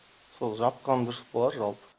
сол жапқан дұрыс болар жалпы